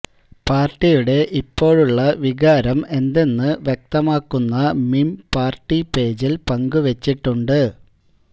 പാർട്ടിയുടെ ഇപ്പോഴുള്ള വികാരം എന്തെന്ന് വ്യക്തമാക്കുന്ന മീം പാർട്ടി പേജില് പങ്കുവെച്ചിട്ടുണ്ട്